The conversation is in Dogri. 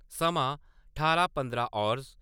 समां ठारां पंदरां हावर्स